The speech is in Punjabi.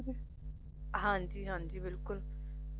ਹਾਂਜੀ ਹਾਂਜੀ ਬਿਲਕੁਲ